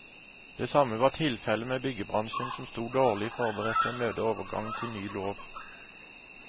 Det samme var tilfellet med byggebransjen, som sto dårlig forberedt til å møte overgangen til ny lov.